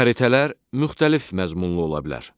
Xəritələr müxtəlif məzmunlu ola bilər.